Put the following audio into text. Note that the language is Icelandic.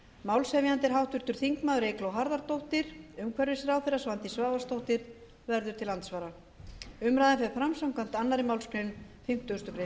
málshefjandi er háttvirtur þingmaður eygló harðardóttir umhverfisráðherra svandís svavarsdóttir verður til andsvara umræðan fer fram samkvæmt annarri málsgrein fimmtugustu grein